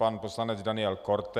Pan poslanec Daniel Korte.